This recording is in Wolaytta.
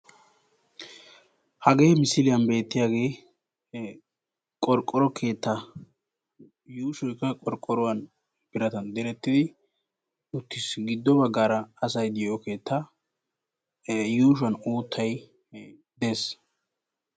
Hagee misiliyan beettiyagee qorqqoro keettaa. Yuushoy qa qorqqoruwan biratan direttidi uttis. Giddo baggaara asay diyo keettaa yuushuwan uuttay des.